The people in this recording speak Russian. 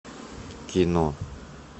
кино